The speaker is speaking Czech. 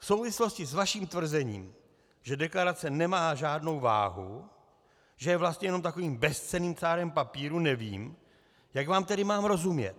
V souvislosti s vaším tvrzením, že deklarace nemá žádnou váhu, že je vlastně jenom takovým bezcenným cárem papíru, nevím, jak vám tedy mám rozumět.